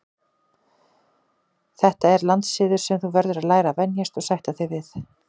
Þetta er landssiður sem þú verður að læra að venjast og sætta þig við.